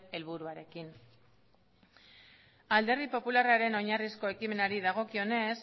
helburuarekin alderdi popularraren oinarrizko ekimenari dagokionez